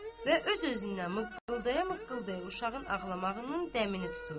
Və öz-özündən mıqqıldaya-mıqqıldaya uşağın ağlamağının dəmini tuturdu.